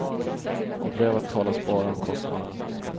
I brevet talas bara om kostnader.